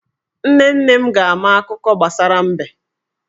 Nne nne m ga-ama akuko gbasara mbe.